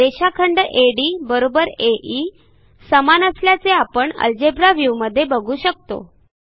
रेषाखंड ADAE समान असल्याचे आपण अल्जेब्रा व्ह्यूमध्ये बघू शकतो